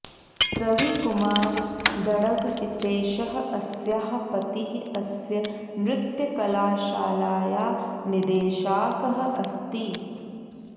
रविकुमार दङ्ग् इतेषः अस्याः पतिः अस्य नृत्यकलाशालायाः निदेशाकः अस्ति